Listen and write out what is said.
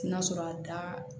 N'a sɔrɔ a da